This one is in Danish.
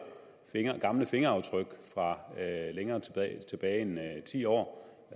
gamle fingeraftryk fra længere tilbage end ti år